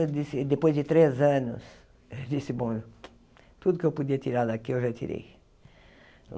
Eu disse, depois de três anos, disse, bom, tudo que eu podia tirar daqui eu já tirei.